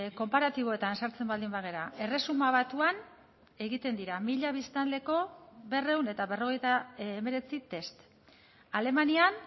konparatiboetan sartzen baldin bagara erresuma batuan egiten dira mila biztanleko berrehun eta berrogeita hemeretzi test alemanian